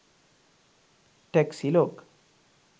taxi log